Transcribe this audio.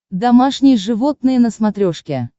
домашние животные на смотрешке